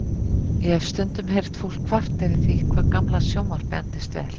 Ég hef stundum heyrt fólk kvarta yfir því hvað gamla sjónvarpið endist vel.